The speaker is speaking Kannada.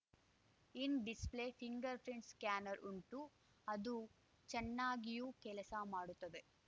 ಇನ್‌ ಡಿಸ್‌ಪ್ಲೇ ಫಿಂಗರ್‌ ಪ್ರಿಂಟ್‌ ಸ್ಕಾನರ್‌ ಉಂಟು ಅದು ಚೆನ್ನಾಗಿಯೂ ಕೆಲಸ ಮಾಡುತ್ತದೆ